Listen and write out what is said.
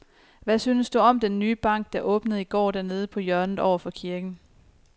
Hvad synes du om den nye bank, der åbnede i går dernede på hjørnet over for kirken?